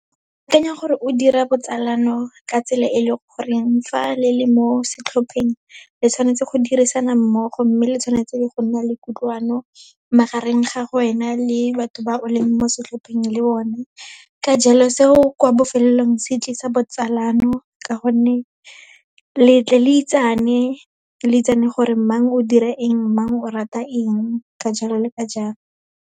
Ke akanya gore o dira botsalano ka tsela e leng goreng, fa le le mo setlhopheng, le tshwanetse go dirisana mmogo, mme le tshwanetse go nna le kutlwano, magareng ga wena le batho ba o leng mo setlhopheng le bone. Ka jalo, seo kwa bofelelong se tlisa botsalano ka gonne, le tle le itsane, le itsane gore mang o dira eng, mang o rata eng, ka jalo le ka jalo.